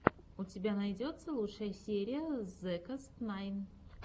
у тебя найдется лучшая серия зекостнайн